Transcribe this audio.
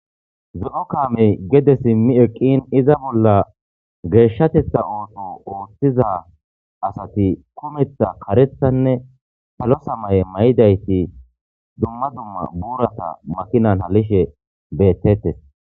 zo7o kaamey gede simmi eqqin iza bolla geeshshatetha ooto ooththiza asati kumeththa karethanne salo samaye may7idayti dumma dumma buurata makinan halishe beettettes